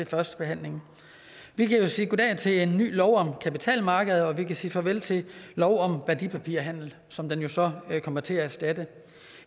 førstebehandler her vi kan sige goddag til en ny lov om kapitalmarkeder og vi kan sige farvel til lov om værdipapirhandel som den jo så kommer til at erstatte